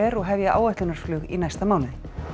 og hefja áætlunarflug í næsta mánuði